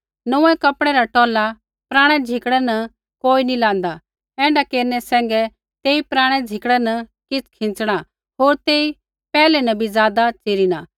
नोंऊँऐं कपड़ै रा टौला पराणै झिकड़ै न कोई नी लाँदा ऐण्ढा केरनै सैंघै तेई पराणै झिकड़ै न किछ़ खींच़णा होर तेई पैहलै न भी ज़ादा च़िरिना